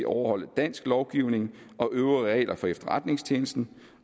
overholde dansk lovgivning og øvrige regler for efterretningstjenesten